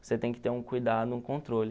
Você tem que ter um cuidado, um controle.